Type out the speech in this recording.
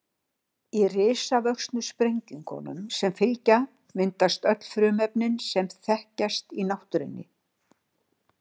Í risavöxnu sprengingunum sem fylgja myndast öll frumefnin sem þekkjast í náttúrunni.